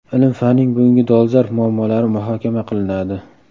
Ilm-fanning bugungi dolzarb muammolari muhokama qilinadi.